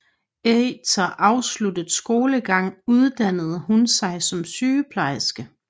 Eter afsluttet skolegang uddannede hun sig som sygeplejerske